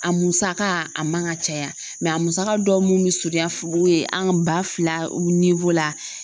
A musaka a man ka caya a musaka dɔw mun be surunya fo yen an ka ba fila ni la